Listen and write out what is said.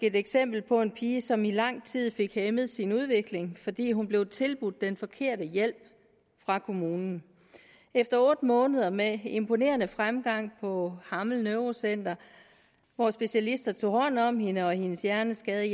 et eksempel på en pige som i lang tid fik hæmmet sin udvikling fordi hun blev tilbudt den forkerte hjælp af kommunen efter otte måneder med imponerende fremgang på hammel neurocenter hvor specialister tog hånd om hende og hendes hjerneskade